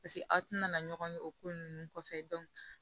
Paseke aw tɛna na ɲɔgɔn ye o ko ninnu kɔfɛ